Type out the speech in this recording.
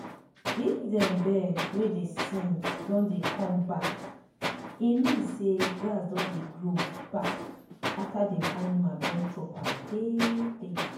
if dem bird wey dey sing don dey come backe mean say grass don dey grow back after dem animal don chop am tey tey.